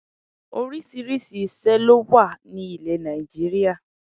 Orísìírísìí ìṣé ló wà ní ilè Nàìjíríà